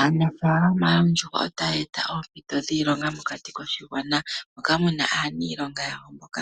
Aanafaalama yoondjuhwa otaya eta oompito dhiilonga mokati koshigwana. Moka muna aaniilonga yawo mboka